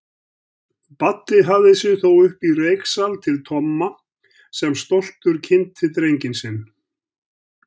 Baddi hafði sig þó uppí reyksal til Tomma sem stoltur kynnti drenginn sinn.